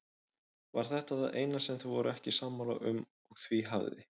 Var þetta það eina sem þau voru ekki sammála um og því hafði